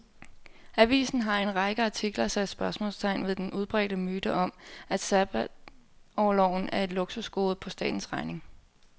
Avisen har i en række artikler sat spørgsmålstegn ved den udbredte myte om, at sabbatorloven er et luksusgode på statens regning.